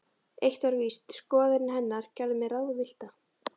Eitt var víst: Skoðanir hennar gerðu mig ráðvillta.